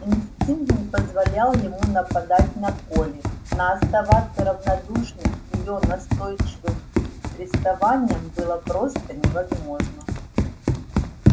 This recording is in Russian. инстинкт не позволял ему нападать на колли но оставаться равнодушным к её настойчивым приставаниям было просто невозможно